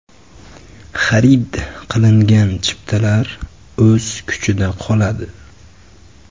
Xarid qilingan chiptalar o‘z kuchida qoladi.